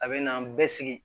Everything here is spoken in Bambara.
A bɛ na an bɛ sigi